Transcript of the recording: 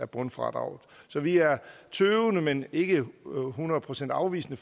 bundfradraget så vi er tøvende men ikke hundrede procent afvisende